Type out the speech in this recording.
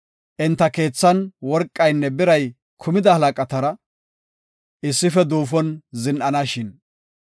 enta keethan worqaynne biray kumida halaqatara issife duufon zin7anashin!